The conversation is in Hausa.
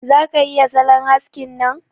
Za ka iya salon haskin nan?